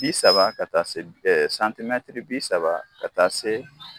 Bi saba ka taa se bi saba ka taa se